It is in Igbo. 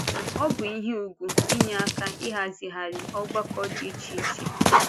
Ọ bụ ihe ùgwù inye aka ịhazigharị ọgbakọ dị iche iche.